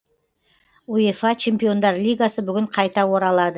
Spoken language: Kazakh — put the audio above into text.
уефа чемпиондар лигасы бүгін қайта оралады